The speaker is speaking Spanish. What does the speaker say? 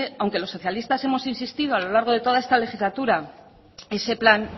aunque los socialistas hemos insistido a lo largo de esta legislatura ese plan